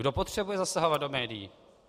Kdo potřebuje zasahovat do médií?